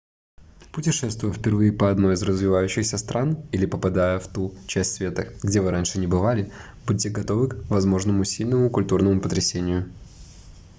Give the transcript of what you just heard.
путешествуя впервые по одной из развивающихся стран или попадая в ту часть света где вы раньше не бывали будьте готовы в возможному сильному культурному потрясению